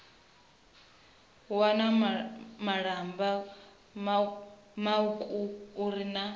wana malamba mauku uri na